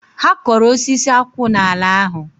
Ha koro osisi akwu n'ala ahu